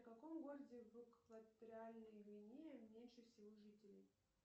в каком городе в экваториальной гвинее меньше всего жителей